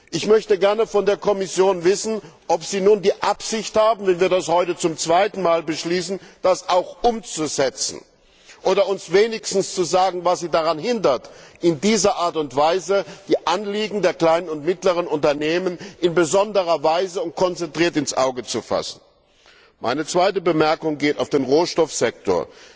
Ich möchte gerne von der Kommission wissen, ob sie nun die Absicht hat, wenn wir das heute zum zweiten Mal beschließen, das auch umzusetzen oder uns wenigstens zu sagen, was sie daran hindert, in dieser Art und Weise die Anliegen der kleinen und mittleren Unternehmen in besonderer Weise und konzentriert ins Auge zu fassen. Meine zweite Bemerkung betrifft den Rohstoffsektor.